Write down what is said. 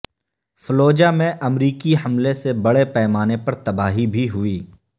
Fallujah میں امریکی حملے سے بڑے پیمانے پر تباہی بھی ہوئی